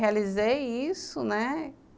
Realizei isso, né?